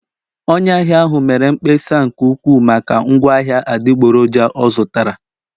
Onye ahịa ahụ mere mkpesa nke ukwuu maka ngwaahịa adịgboroja ọ zụtara